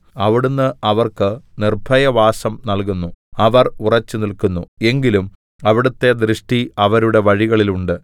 അവിടുന്ന് അവർക്ക് നിർഭയവാസം നല്കുന്നു അവർ ഉറച്ചുനില്ക്കുന്നു എങ്കിലും അവിടുത്തെ ദൃഷ്ടി അവരുടെ വഴികളിലുണ്ട്